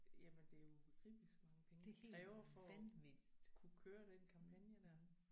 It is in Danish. Jamen det er jo ubegribeligt så mange penge det kræver for at kunne køre den kampagne der